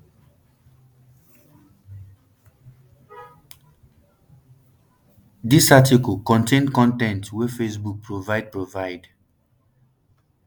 dis article contain con ten t wey facebook provide provide